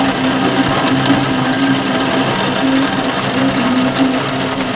और यहां पे स्टील की सीढ़ी है और इस शटर का कलर ब्लू कलर का है।